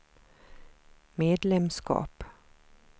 medlemskap